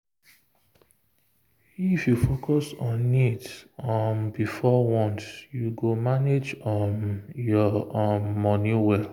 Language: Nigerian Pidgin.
if you focus on needs um before wants you go manage um your um money well.